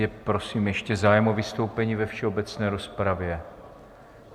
Je prosím ještě zájem o vystoupení ve všeobecné rozpravě?